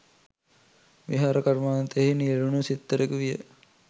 විහාර කර්මාන්තයෙහි නියැලුණු සිත්තරෙකු විය.